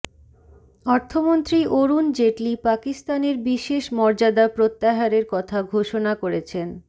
অর্থমন্ত্রী অরুণ জেটলি পাকিস্তানের বিশেষ মর্যাদা প্রত্যাহারের কথা ঘোষণা করেছেন